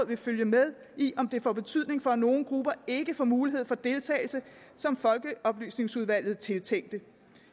vil følge med i om det får betydning for at nogle grupper ikke får de muligheder for deltagelse som folkeoplysningsudvalget tiltænkte